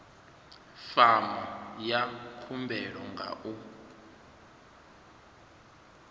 fomo ya khumbelo nga u